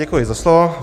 Děkuji za slovo.